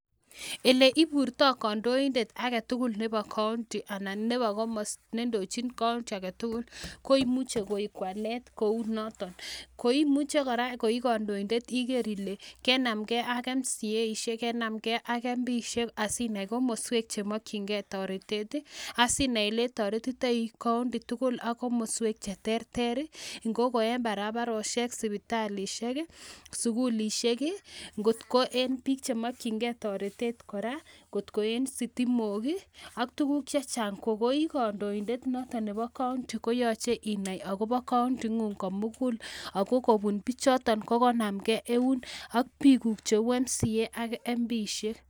Oleiburtoi kandoindet aketukul nebo kaonti ala nebo komosto nendochin ksonti aketukul koimuche koib walet kou noton koimuche kora koi kandoindet iker ile kebsmkei ak mceishek kenamjei ak mpiishek ssinai kamaswek chemokyin kei toretet ii asinai oletoretitoi ksonti tukul sk komoswek cheterter iko kou en barabaroshek ,sipitalushek ii sukulishrk ii kot ko en biik chemokyin toretet kora kot en sitimok ala en tukuk chechang ko koikandoindet noton nebo kaonti koyoche inai akobo kaonti ingung komukul ako kobun bichoton kokonsm kei eun ak biikguk cheu mca sk mpishek.